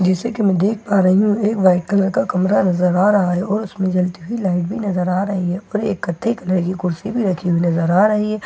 जैसे कि मैं देख पा रही हूँ एक वाइट कलर का कमरा नज़र आ रहा है और उसमे जलती हई लाइट भी नज़र आ रही है ऊपर एक नयी कुर्सी भी नजर आ रही है और ए--